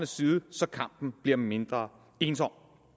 side så kampen bliver mindre ensom